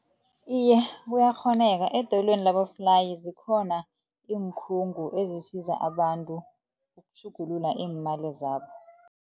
Iye, kuyakghoneka, edoyelweni laboflayi zikhona iinkhungo ezisiza abantu ukutjhugulula iimali zabo.